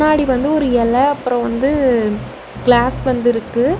னாடி வந்து ஒரு எல அப்ரோ வந்து கிளாஸ் வந்து இருக்கு.